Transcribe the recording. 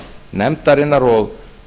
nefndarinnar og